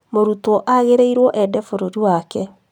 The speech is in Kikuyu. Mũrutwo agĩrĩirwo ende bũrũri wake